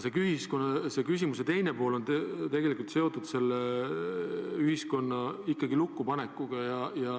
Aga küsimuse teine pool on seotud ühiskonna lukku panekuga.